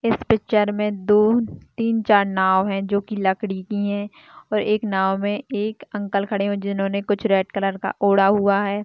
इस पिक्चर मे दो तीन चार नाव है जोकी लकड़ी की है और एक नाव मे एक अंकल खड़े हुए है जिन्होंने कुछ रेड कलर का ओढ़ा हुआ है।